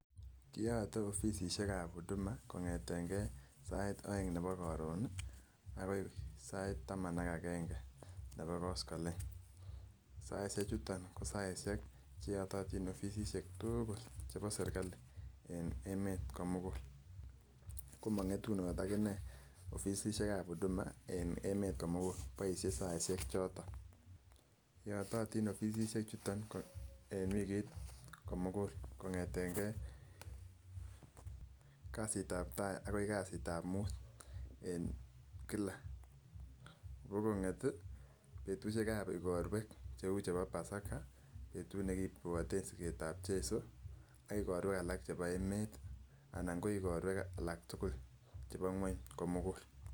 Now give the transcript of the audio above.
Kiyote offisisiek ab huduma kongeten gee sait oeng nebo korun nii akoi sait taman ak agenge nebo kosgolech, saisiek chuton ko saisiek cheyototin offisisiek tuukuk chebo sirikali en emet komugul ko mongetunot ak inee offisisiek ab huduma en emet komugul boisie saisiek choton. Yototin offisisiek chuton en wikit komugul kongeten gee kasit ab tai akoi kasit ab mut en kila, ko konget tii betushek ab igorwek cheu chebo basaka betut nekibwote siket ab Jesu ak igorwek alak chebo emet anan ko igorwek alak tukul chebo ngueny komugul.